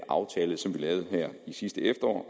aftale som vi lavede sidste efterår